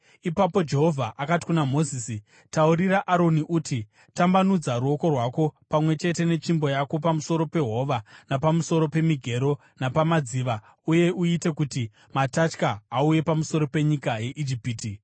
Ipapo Jehovha akati kuna Mozisi, “Taurira Aroni uti, ‘Tambanudza ruoko rwako pamwe chete netsvimbo yako pamusoro pehova napamusoro pemigero napamadziva, uye uite kuti matatya auye pamusoro penyika yeIjipiti.’ ”